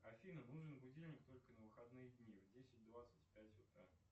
афина нужен будильник только на выходные дни в десять двадцать пять утра